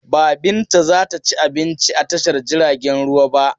Ba Binta za ta ci abinci a tashar jiragen ruwa ba.